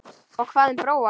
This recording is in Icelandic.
Og hvað um Bróa?